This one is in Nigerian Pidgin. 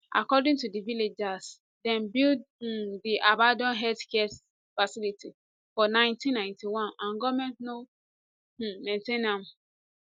according to di villagers dem build um di abanAcceptedd healthcare facility for 1991 and goment no um maintain am